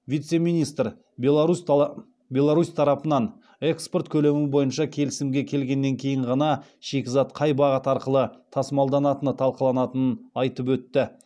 вице министр беларусь тарапымен экспорт көлемі бойынша келісімге келгеннен кейін ғана шикізат қай бағыт арқылы тасымалданатыны талқыланатынын айтып өтті